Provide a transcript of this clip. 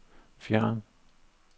fjern